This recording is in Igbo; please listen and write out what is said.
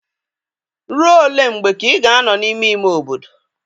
Rụọ ole mgbe ka ị ga-anọ n'ime ime obodo?